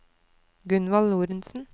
Gunvald Lorentsen